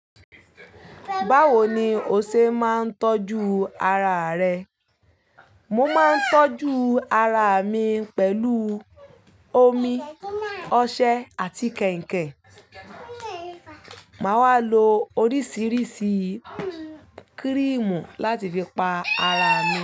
Báwo ni o ṣe máa ń tọ́jú ara rẹ? Mo máa ń tọ́jú ara mi pẹ̀lú omi ọṣẹ àti kẹ̀ǹkẹ̀. Màá wà lo oríṣiríṣi kírímù láti fi pa ara mi.